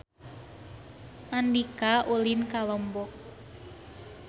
Andika ulin ka Lombok